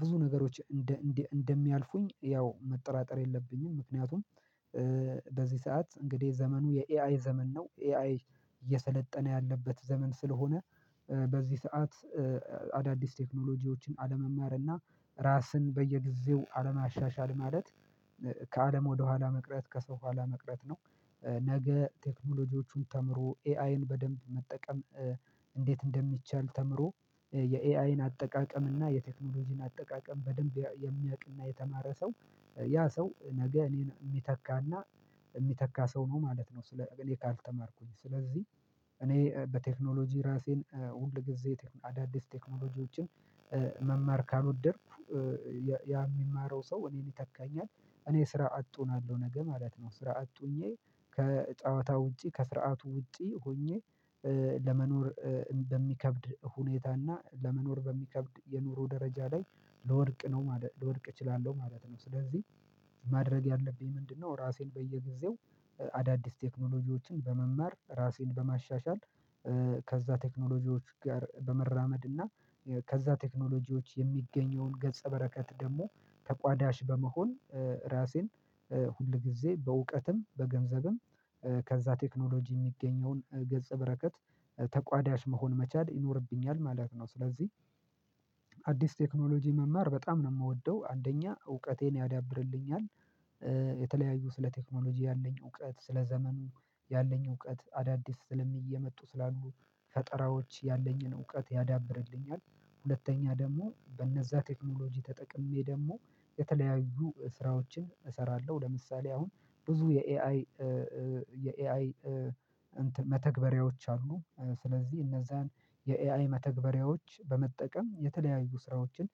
ብዙ ነገሮች እንደ እንደ እንደሚያልፉኝ ያው መጠራጠር የለብኝም። ምክንያቱም በዚህ ሰዓት እንግዲህ ዘመኑ የኤአይ ዘመን ነው ኤአይ እየሰለጠነ ያለበት ዘመን ስለሆነ። በዚህ ሰዓት አዳዲስ ቴክኖሎጂዎችን አለመማር እና ራስን በየጊዜው አለማሻሻል ማለት ከአለም ወደኋላ መቅረት ከሰው ኋላ መቅረት ነው። ነገ ቴክኖሎጂዎቹን ተምሮ ኤአይን በደንብ መጠቀም እንዴት እንደሚቻል ተምሮ የኤአይን አጠቃቀም እና የቴክኖሎጂን አጠቃቀም በደንብ የሚያቅ እና የተማረ ሰው ያ ሰው ነገ እኔን የሚተካና የሚተካ ሰው ነው ማለት ነው። እኔ ካልተማርኩኝ ስለዚህ እኔ በቴክኖሎጂ ራሴን ሁል ጊዜ አዳዲስ ቴክኖሎጂዎችን መማር ካልወደድኩ የሚማረው ሰው እኔን ይተካኛል እኔ ስራ አጥ ሆናለው ነገ ማለት ነው። ስራ አጥቶኜ ከጨዋታ ውጪ ከስርዓቱ ውጪ ሆኜ ለመኖር በሚከብድ ሁኔታ እና ለመኖር በሚከብድ የኑሮ ደረጃ ላይ ለወድቅ ነው ለወድቅ እችላለሁ ማለት ነው። ስለዚህ ማድረግ ያለብኝ ምንድነው? ራሴን በየጊዜው አዳዲስ ቴክኖሎጂዎችን በመማር ራሴን በማሻሻል ከዛ ቴክኖሎጂዎች ጋር በመራመድ እና ከዛ ቴክኖሎጂዎች የሚገኘውን ገጸ በረከት ደግሞ ተቋዳሽ በመሆን ራሴን ሁልጊዜ በእውቀትም በገንዘብም ከዛ ቴክኖሎጂ የሚገኘውን ገጽ በረከት ተቋዳሽ መሆን መቻል ይኖርብኛል ማለት ነው። ስለዚህ ቴክኖሎጂ መማር በጣም ነው የምወደው አንደኛ እውቀቴን ያዳብርልኛል። የተለያዩ ስለ ቴክኖሎጂ ያለኝ እውቀት ስለ ዘመኑ ያለኝ እውቀት አዳዲስ ስለሚል እየመጡ ስላሉ ፈጠራዎች ያለኝን እውቀት ያዳብርልኛል። ሁለተኛ ደግሞ በነዛ ቴክኖሎጂ ተጠቅሜ ደግሞ የተለያዩ ስራዎችን እሰራለሁ ለምሳሌ አሁን ብዙ የኤአይ የኤአይ መተግበሪያዎች አሉ። ስለዚህ እነዛን የኤአይ መተግበሪያዎች በመጠቀም የተለያዩ ስራዎችን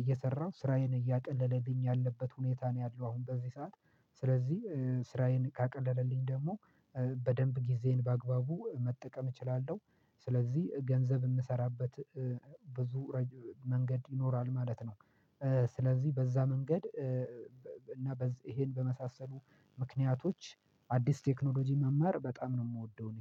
እየሰራሁ ስራዬን እያቀለለልኝ ያለበት ሁኔታ ነው ያለው አሁን በዚህ ሰዓት ስለዚህ ስራዬን ካቀለለልኝ ደግሞ በደንብ ጊዜን በአግባቡ መጠቀም እችላለሁ። ስለዚህ ገንዘብ የምሰራበት ብዙ መንገድ ይኖራል ማለት ነው። ስለዚህ በዛ መንገድ እና ይሄን በመሳሰሉ ምክንያቶች አዲስ ቴክኖሎጂ መማር በጣም ነው የምወደው። እኔ